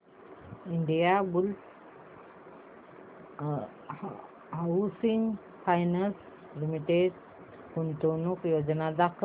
Indiabulls housing finance limited गुंतवणूक योजना दाखव